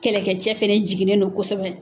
Kɛlɛkɛcɛ fana jiginnen don kosɛbɛ